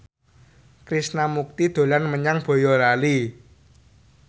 Krishna Mukti dolan menyang Boyolali